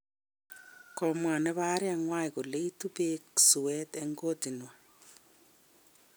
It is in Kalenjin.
Komwochi nebo arinywa kole itu beek suet eng kotnywa